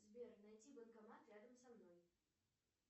сбер найти банкомат рядом со мной